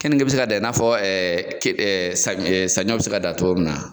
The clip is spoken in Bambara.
Kenige bɛ se ka dan i n'a fɔ ke sa sanɲɔ bɛ se ka dan cogo min na ?